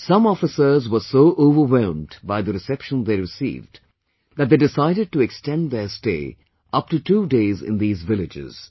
Some officers were so overwhelmed by the reception they received, that they decided to extend their stay upto two days in these villages